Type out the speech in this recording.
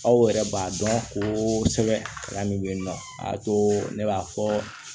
Aw yɛrɛ b'a dɔn ko sɛbɛn min bɛ yen nɔ a to ne b'a fɔ